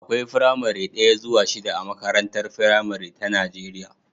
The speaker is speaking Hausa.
Akwai firamare daya zuwa shida a makarantar firamare ta Najeriya